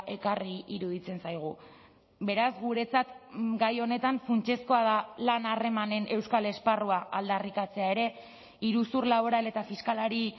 ekarri iruditzen zaigu beraz guretzat gai honetan funtsezkoa da lan harremanen euskal esparrua aldarrikatzea ere iruzur laboral eta fiskalari